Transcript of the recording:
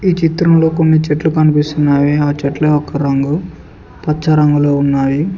చిత్రంలో కొన్ని చెట్లు కనిపిస్తున్నావి ఆ చెట్ల యొక్క రంగు పచ్చ రంగులో ఉన్నాయి.